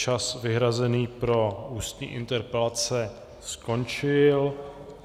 Čas vyhrazený pro ústní interpelace skončil.